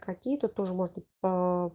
какие то тоже можно по